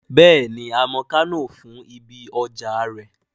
Bẹ́ẹ̀ni, a mọ Kánò fún ibi ọjà rẹ̀